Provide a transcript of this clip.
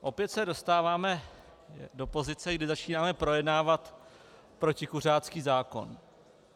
Opět se dostáváme do pozice, kdy začínáme projednávat protikuřácký zákon.